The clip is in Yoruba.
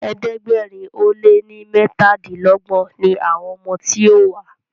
ẹ̀ẹ́dẹ̀gbẹ̀rin o lẹ ní metadinlogbon ní àwọn ọmọ tí yóò wá..